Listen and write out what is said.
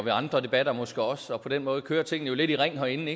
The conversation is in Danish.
i andre debatter måske også og på den måde kører tingene lidt i ring herinde